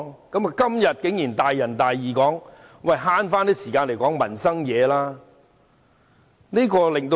今天，他竟然大仁大義地說要節省時間，討論民生事項。